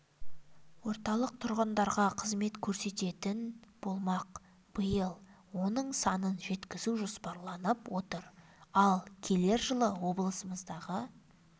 орталық тұрғындарға қызмет көрсететін болмақ биыл оның санын жеткізу жоспарланып отыр ал келер жылы облысымыздағы